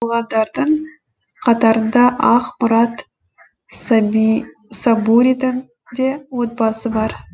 болғандардың қатарында ақмұрат сабуридің де отбасы бар